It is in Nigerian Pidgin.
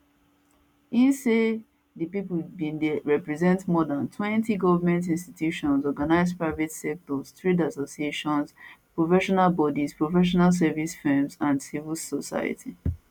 im say dis pipo bin dey represent more dantwentygoment institutions organised private sector trade associations professional bodies professional services firms and civil society